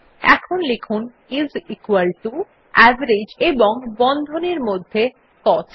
এখন লিখুন IS equal to এবং এভারেজ এবং বন্ধনীর মধ্যে কস্ট